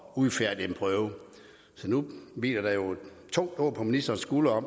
udfærdige en prøve så nu hviler der jo et tungt åg på ministerens skuldre